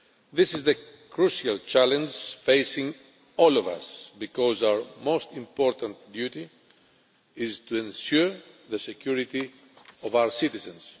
This is the crucial challenge facing all of us, because our most important duty is to ensure the security of our citizens.